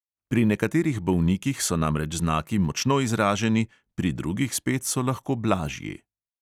Pri nekaterih bolnikih so namreč znaki močno izraženi, pri drugih spet so lahko blažji.